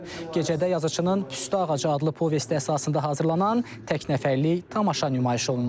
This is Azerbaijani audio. Gecədə yazıçının Püstə ağacı adlı povesti əsasında hazırlanan tək nəfərlik tamaşa nümayiş olunub.